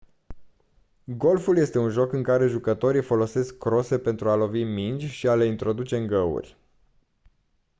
golful este un joc în care jucătorii folosesc crose pentru a lovi mingi și a le introduce în găuri